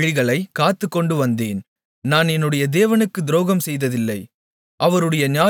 யெகோவாவுடைய வழிகளைக் காத்துக்கொண்டுவந்தேன் நான் என்னுடைய தேவனுக்குத் துரோகம் செய்ததில்லை